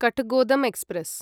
Kathgodam express